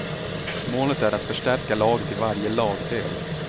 Målet är att förstärka laget i varje lagdel.